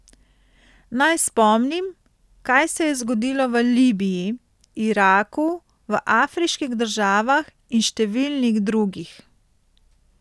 Naj spomnim, kaj se je zgodilo v Libiji, Iraku, v afriških državah in številnih drugih.